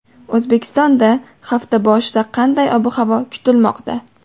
O‘zbekistonda hafta boshida qanday ob-havo kutilmoqda?.